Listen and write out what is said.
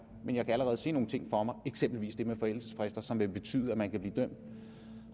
men jeg kan allerede se nogle ting for mig eksempelvis det med forældelsesfrister som vil betyde at man kan blive dømt